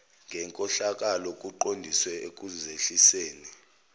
ngenkohlakalo kuqondiswe ekuzehliseni